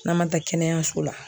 N'an ma taa kɛnɛyaso la